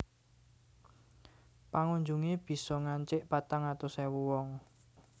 Pengunjungé bisa ngancik patang atus ewu wong